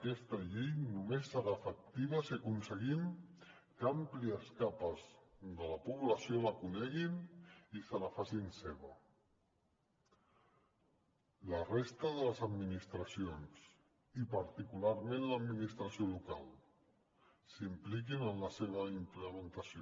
aquesta llei només serà efectiva si aconseguim que àmplies capes de la població la coneguin i se la facin seva la resta de les administracions i particularment l’administració local s’impliquin en la seva implementació